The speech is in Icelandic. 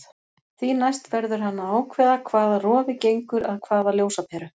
Því næst verður hann að ákveða hvaða rofi gengur að hvaða ljósaperu.